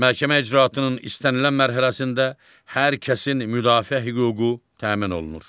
Məhkəmə icraatının istənilən mərhələsində hər kəsin müdafiə hüququ təmin olunur.